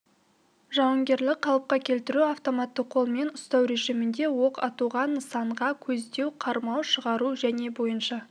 жауынгерлік қалыпқа келтіру автоматты қолмен ұстау режімінде оқ атуға нысанаға көздеу қармау шығару және бойынша